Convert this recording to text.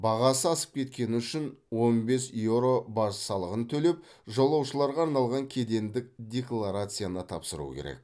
бағасы асып кеткені үшін он бес еуро баж салығын төлеп жолаушыларға арналған кедендік декларацияны тапсыру керек